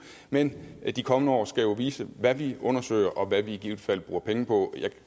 men de kommende år skal jo vise hvad vi undersøger og hvad vi i givet fald bruger penge på